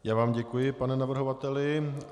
Já vám děkuji, pane navrhovateli.